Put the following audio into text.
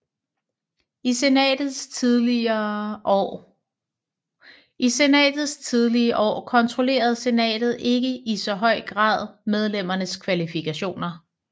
I Senatets tidlige år kontrollerede Senatet ikke i så høj grad medlemmernes kvalifikationer